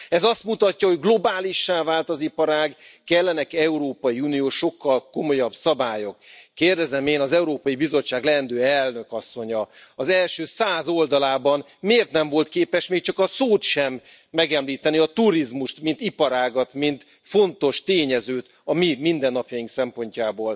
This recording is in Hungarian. Ez azt mutatja, hogy globálissá vált az iparág, sokkal komolyabb európai uniós szabályok kellenek. Kérdezem én, hogy az Európai Bizottság leendő elnök asszonya a dolgozatának első száz oldalában miért nem volt képes még csak a szót sem megemlíteni, a turizmust mint iparágat, mint fontos tényezőt a mi mindennapjaink szempontjából.